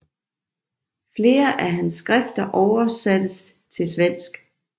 Flere af hans skrifter oversattes til svensk